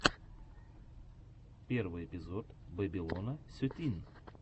первый эпизод бэбилона сетин